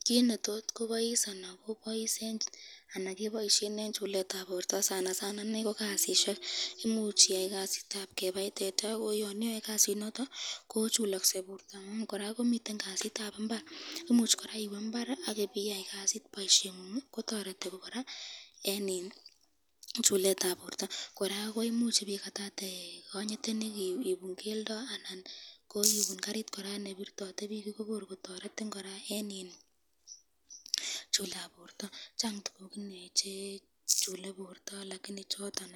Kit netot kobois eng chuletab borto ko kasisyek , imuch iyai kasitab kebaii teta ,koyon iyoe Kasi nondon kochulakse borto ,koraa komiten kasitab imbar